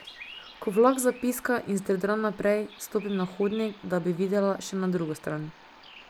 Ko vlak zapiska in zdrdra naprej, stopim na hodnik, da bi videla še na drugo stran.